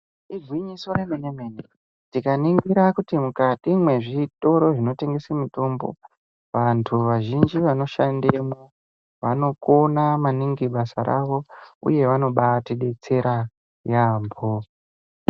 Igwinyiso re mene mene tika ningira kuti mukati mwe zvitoro zvino tengese mitombo vantu vazhinji vano shandemwo vano kona maningi basa ravo uye vanobai tidetsera yambo.